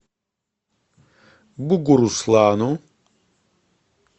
бугуруслану